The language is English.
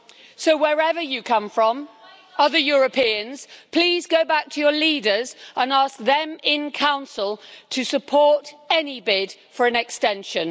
So, wherever you come from, other Europeans, please go back to your leaders and ask them in Council to support any bid for an extension.